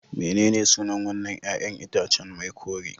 Mene ne sunan wannan 'ƴa'ƴan itacen mai kore